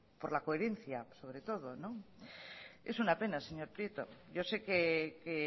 por la coherencia sobre todo es una pena señor prieto yo sé que